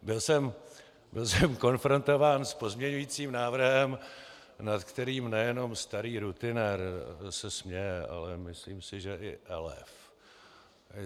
Byl jsem konfrontován s pozměňujícím návrhem, nad kterým nejenom starý rutinér se směje, ale myslím si, že i elév.